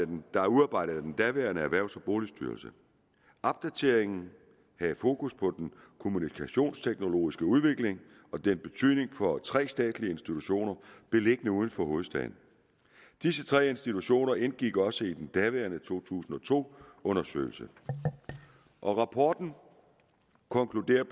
den blev udarbejdet af den daværende erhvervs og boligstyrelse opdateringen havde fokus på den kommunikationsteknologiske udvikling og dens betydning for tre statslige institutioner beliggende uden for hovedstaden disse tre institutioner indgik også i den daværende to tusind og to undersøgelse rapporten konkluderer